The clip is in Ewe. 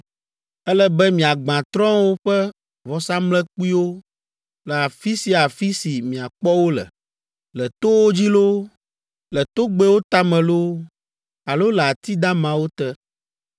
“Ele be miagbã trɔ̃wo ƒe vɔsamlekpuiwo le afi sia afi si miakpɔ wo le, le towo dzi loo, le togbɛwo tame loo, alo le ati damawo te.